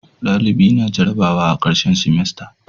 dalibi na jarabawa a karshen simasta